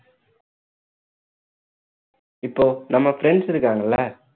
இப்போ நம்ம friends இருக்காங்கல்ல